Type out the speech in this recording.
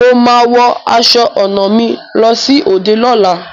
Mo máa wọ aṣọ ọnà mi lọ sí òde lola